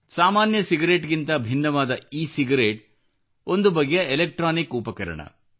ಸಾಮಾನ್ಯ ಸಿಗರೇಟ್ ಗಿಂತ ಭಿನ್ನವಾದ ಇ ಸಿಗರೇಟ್ ಒಂದು ಬಗೆಯ ಎಲಾಕ್ಟ್ರಾನಿಕ್ ಉಪಕರಣವಾಗಿದೆ